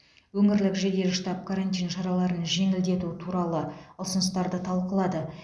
өңірлік жедел штаб карантин шараларын жеңілдету туралы ұсыныстарды талқылады